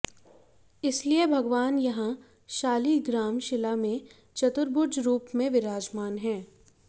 इसलिए भगवान यहां शालिग्राम शिला में चतुर्भुज रूप में विराजमान हैं